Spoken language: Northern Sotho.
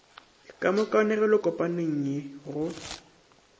ka mo kanegelokopaneng ye go